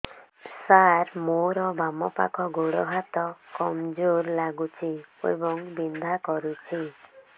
ସାର ମୋର ବାମ ପାଖ ଗୋଡ ହାତ କମଜୁର ଲାଗୁଛି ଏବଂ ବିନ୍ଧା କରୁଛି